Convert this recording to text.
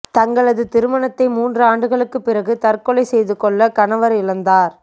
தங்களது திருமணத்தை மூன்று ஆண்டுகளுக்கு பிறகு தற்கொலை செய்து கொள்ள கணவர் இழந்தார்